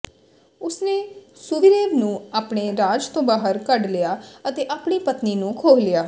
ਉਸਨੇ ਸੁਵੀਰੇਵ ਨੂੰ ਆਪਣੇ ਰਾਜ ਤੋਂ ਬਾਹਰ ਕੱਢ ਲਿਆ ਅਤੇ ਆਪਣੀ ਪਤਨੀ ਨੂੰ ਖੋਹ ਲਿਆ